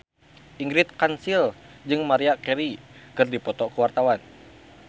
Ingrid Kansil jeung Maria Carey keur dipoto ku wartawan